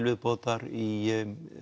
viðbótar í